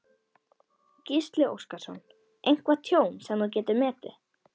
Gísli Óskarsson: Eitthvað tjón sem þú getur metið?